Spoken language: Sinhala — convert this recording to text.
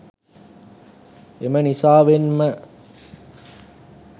එම නිසාවෙන්ම